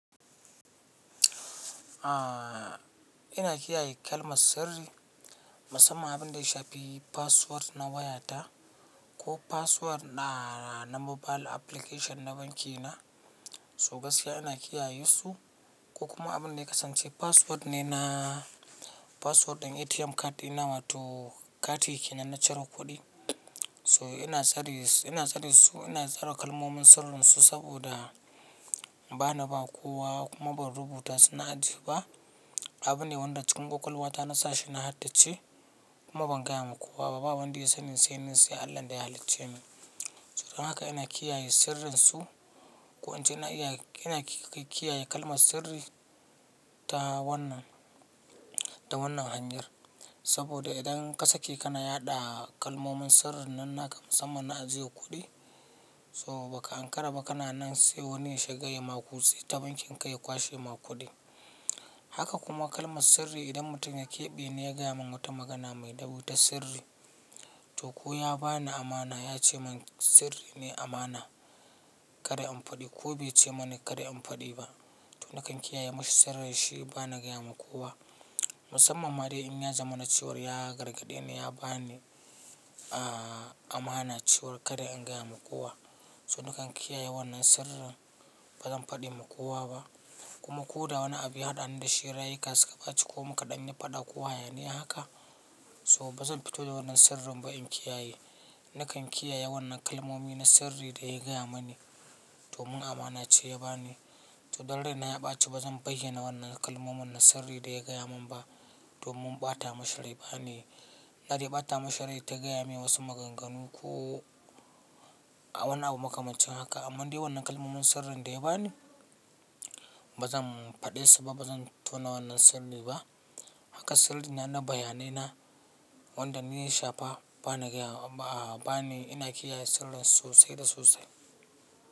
Ina kiyaye kalmar sirri musamman abin da ya shafi password na wayata ko password na mobile application na banki na. So gaskiya ina kiyaye su ko kuma abin da ya kasance password ne na password ɗin ATM card ina watu kati ke nan ciro kuɗi. So ina tsare su, ina tsara kalmomin sirrin su saboda ba na ba kowa kuma ban rubuta suna a ji ba. Abu ne wanda cikin ƙoƙal wata na sa shi na haddace kuma ban gaya wa kowa. Baba wanda ya sanin sai ni sai Allah daya halicce min. So don haka ina kiyaye sirrin su. Ko an ce ina iya, ina kai kiyaye kalmar sirri ta wannan da wannan hanyar. Saboda idan kasa kike na yaɗa kalmomin sirrin nan naka musamman na cire kuɗi. So ba ka ankara ba kana nan sai wani ya shiga ya makusi ta bankin ka ya kwashe ma kuɗi. Haka kuma kalmar sirri idan mutum ya keɓe ne ya gaya mun wata magana mai dabi'u ta sirri. To ko ya ba ni amana ya ce mun sirri ne amana, kada in faɗi ko bai ce mani kada in faɗi ba. To nakan kiyaye mashi sirri shi ba na gaya ma kowa. Musamman ma dai in ya zama na ciwon ya gargaɗe ni ya ba ni a mana ciwo kada in gaya ma kowa. So nakan kiyaye wannan sirrin ba zan faɗi ma kowa ba. Kuma ko da wanni abu ya haɗu da shi rayuka suka baci ko muka ɗani faɗa kowa yana haka. So bazan fito da wannan sirrin ba in kiyaye. Nakan kiyaye wannan kalmomi na sirri da ya gaya mani domin amana ce ya ba ni. To daddare na ya ɓace ba zan bayyana wannan kalmomin na sirri da ya gaya mun ba domin bata mashrai ba ne. Na dai bata mashrai ta gaya mini wasu maganganu ko wannan abu makamancin haka. Amma dai wannan kalmomin sirrin da ya bani ba zan faɗe su ba, bazan tona wannan sirri ba. Haka sirri na bayanai na wanda ni ya sha fa bana gaya ba ni ina kiyaye sirrin su sai da su sai.